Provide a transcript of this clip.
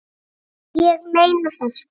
Nei, ég meina það, sko.